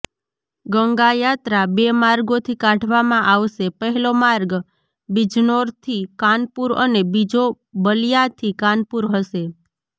ગંગાયાત્રા બે માર્ગોથી કાઢવામાં આવશે પહેલો માર્ગ બિજનોર થી કાનપુર અને બીજો બલિયાથી કાનપુર હશે